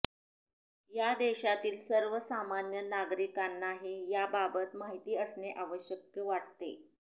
या देशातील सर्वसामान्य नागरिकांनाही याबाबत माहिती असणे आवश्यक वाटते